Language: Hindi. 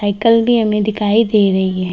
साईकिल भी हमें दिखाई दे रही है।